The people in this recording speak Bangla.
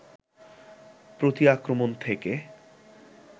প্রতি-আক্রমণ থেকে